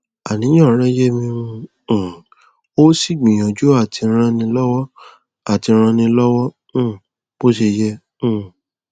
àníyàn rẹ yé mi n um ó sì gbìyànjú àti rànẹ lọwọ àti rànẹ lọwọ um bó ṣe yẹ um